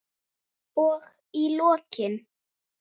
Og í lokin.